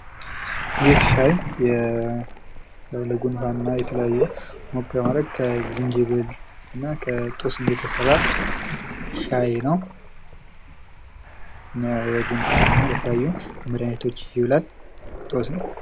ይህ ሻይ ለጉንፋን እና ለተለያዩ ሞቅ በማድረግ ከዝንጅብል እና ከጦስኝ የተሰራ ሻይ ነው። ለጉንፋን እና ለተለያዩ መድሃኒቶች ይውላል።